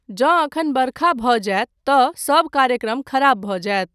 जँ एखन बरखा भऽ जायत तँ सब कार्यक्रम खराब भऽ जायत।